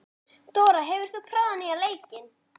Dóra, hefur þú prófað nýja leikinn?